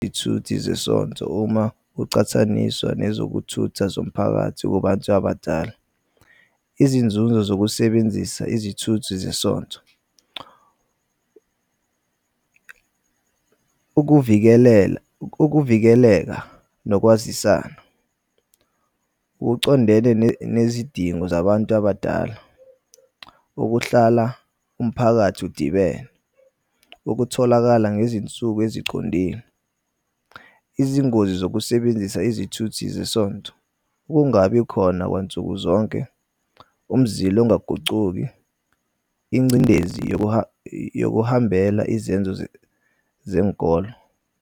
Izithuthi zesontho uma uqhathaniswa nezokuthutha zomphakathi kubanthu abadala. Izinzunzo zokusebenzisa izithuthi zesontho . Ukuvikeleka nokwazisana kucondene nezidingo zabantu abadala okuhlala umphakathi udibene, ukutholakala ngezinsuku ezicondile. Izingozi zokusebenzisa izithuthi zesontho kungabi khona kwansukuzonke, umzila ongagucuki, ingcindezi yokuhambela izenzo zenkolo.